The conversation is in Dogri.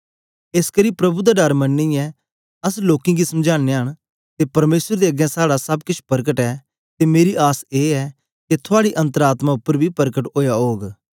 एसकरी प्रभु दा डर मनियै अस लोकें गी समझानयां न ते परमेसर दे अगें साड़ा सब केछ परकट ऐ ते मेरी आस ए ऐ के थूआडी अन्तर आत्मा उपर बी परकट ओया ओग